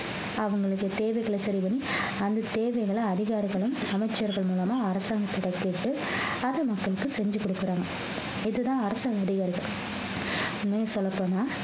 அவங்களுக்கு தேவைகளை சரி பண்ணி அந்த தேவைகளை அதிகாரிகளும் அமைச்சர்கள் மூலமா அரசாங்கத்தை கேட்டு அது மக்களுக்கு செஞ்சு கொடுக்குறாங்க இதுதான் உண்மைய சொல்லப் போனா